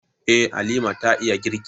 Eh, Halima ta iya girki.